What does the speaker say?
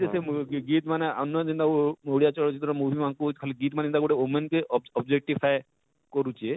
ସେ movie ଗୀତ ମାନେ ଓଡ଼ିଆ ଚଳଚିତ୍ର movie ମାନକୁ ଖାଲି ଗୀତ ମାନେ ଯେନତା ଗୁଟେ womane କେ objectivefy କରୁଛେ